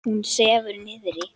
Hún sefur niðri.